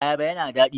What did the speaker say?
Ayaba yana da daɗi.